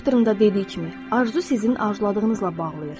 Bu Proctor'ın da dediyi kimi, arzu sizin arzuladığınızla bağlayır.